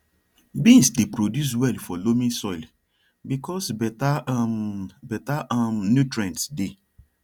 beans dey produce well for loamy soil because better um better um nutrients dey